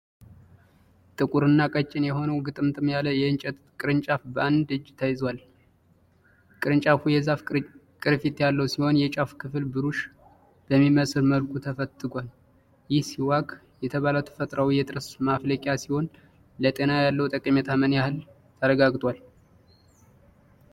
ጥቁርና ቀጭን የሆነው ግጥምጥም ያለ የእንጨት ቅርንጫፍ በአንድ እጅ ተይዟል። ቅርንጫፉ የዛፍ ቅርፊት ያለው ሲሆን፣ የጫፉ ክፍል ብሩሽ በሚመስል መልኩ ተፈትቷል። ይህ ሲዋክ የተባለ ተፈጥሮአዊ የጥርስ መፋቂያ ሲሆን፣ ለጤና ያለው ጠቀሜታ ምን ያህል ተረጋግጧል?